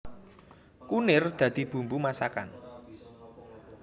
Kunir dadi bumbu masakan